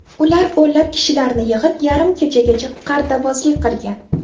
Ular o‘nlab kishilarni yig‘ib, yarim kechagacha qartabozlik qilgan.